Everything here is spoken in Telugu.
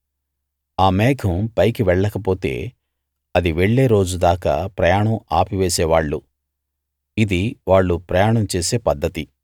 ఆ మేఘం పైకి వెళ్ళకపోతే అది వెళ్ళే రోజు దాకా ప్రయాణం ఆపివేసే వాళ్ళు ఇది వాళ్ళు ప్రయాణం చేసే పద్ధతి